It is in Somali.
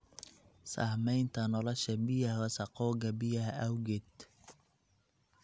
Saamaynta nolosha biyaha wasakhowga biyaha awgeed.